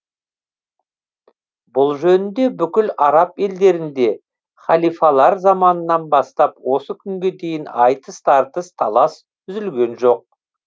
бұл жөнінде бүкіл араб елдерінде халифалар заманынан бастап осы күнге дейін айтыс тартыс талас үзілген жоқ